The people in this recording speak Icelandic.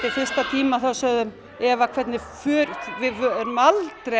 fyrsta tíma sögðu þau Eva við erum aldrei